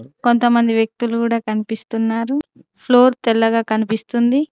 కొంతమంది వ్యక్తులు కూడా కనిపిస్తున్నారు ఫ్లోర్ తెల్లగా కనిపిస్తుంది.